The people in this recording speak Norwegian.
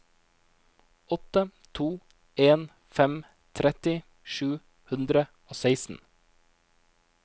åtte to en fem tretti sju hundre og seksten